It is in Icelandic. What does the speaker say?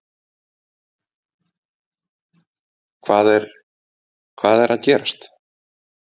Hvað er, hvað er að gerast?